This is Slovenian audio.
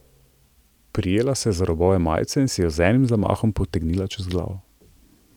Prijela se je za robove majice in si jo z enim zamahom potegnila čez glavo.